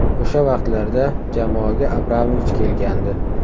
O‘sha vaqtlarda jamoaga Abramovich kelgandi.